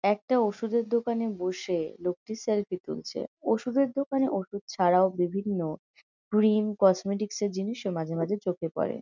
একটা ওষুধের দোকানে বসে লোকটি সেলফি তুলছে। ওষুধের দোকানে ওষুধ ছাড়াও বিভিন্ন ক্রিম কসমেটিক্স -এর জিনিসও চোখে পরে ।